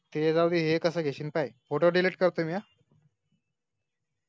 ते जाऊदे हे कास घेशील पायी photo delete करतोय मी हा